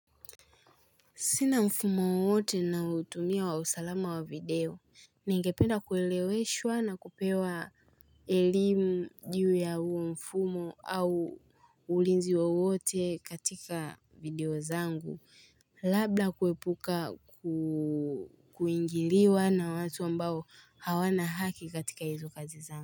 Sina mfumo wowote naoutumia wa usalama wa video. Ningependa kueleweshwa na kupewa elimu juu ya uo mfumo au ulinzi wa wote katika video zangu. Labda kuepuka kuingiliwa na watu ambao hawana haki katika hizo kazi zangu.